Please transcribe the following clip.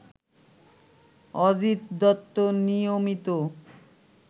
অজিত দত্ত নিয়মিত